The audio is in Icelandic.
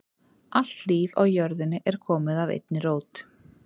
Allt líf á jörðinni er komið af einni rót.